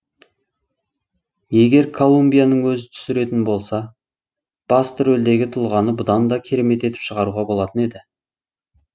егер колумбияның өзі түсіретін болса басты рөлдегі тұлғаны бұдан да керемет етіп шығаруға болатын еді